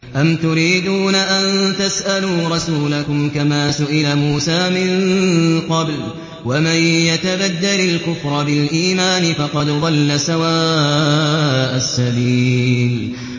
أَمْ تُرِيدُونَ أَن تَسْأَلُوا رَسُولَكُمْ كَمَا سُئِلَ مُوسَىٰ مِن قَبْلُ ۗ وَمَن يَتَبَدَّلِ الْكُفْرَ بِالْإِيمَانِ فَقَدْ ضَلَّ سَوَاءَ السَّبِيلِ